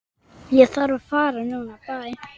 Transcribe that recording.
Ég þarf að fara núna